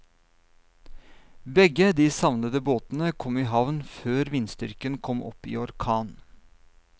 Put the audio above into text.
Begge de savnede båtene kom i havn før vindstyrken kom opp i orkan.